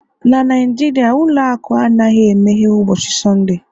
na Naijiria ụlọ akụ anaghị emeghe ụbọchị Sọnde